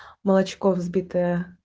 молочко взбитое